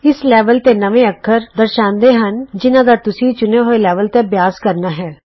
ਇਸ ਲੈਵਲ ਦੇ ਨਵੇਂ ਅੱਖਰ ਦਰਸਾਂਦੇ ਹਨ ਉਹ ਅੱਖਰ ਜਿਨ੍ਹਾਂ ਦਾ ਤੁਸੀਂ ਚੁਣੇ ਹੋਏ ਲੈਵਲ ਤੇ ਅਭਿਆਸ ਕਰਨਾ ਹੈ